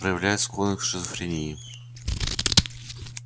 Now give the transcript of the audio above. проявляет склонность к шизофрении